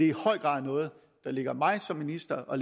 i høj grad noget der ligger mig som minister og